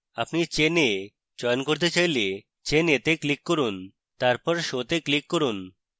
আপনি chain a চয়ন করতে চাইলে chain a তে click করুন তারপর show তে click করুন